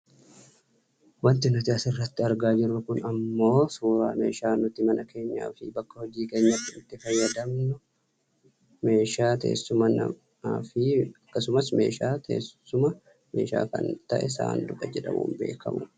wanti nuti asirratti argaa jirru kun ammoo suuraa meeshaa nuti mana keenyaafi bakka hojii keenyaatti itti fayyadamnu meeshaa teessumaa namaa fi akkasumas meeshaa teessuma meeshaa kan ta'e saanduqa jedhamuun beekkamuuti.